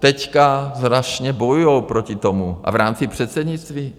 Teď strašně bojují proti tomu a v rámci předsednictví?